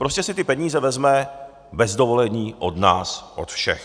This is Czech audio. Prostě si ty peníze vezme bez dovolení od nás od všech.